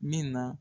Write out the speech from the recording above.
Min na